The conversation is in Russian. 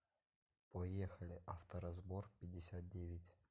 поехали авторазборпятьдесятдевять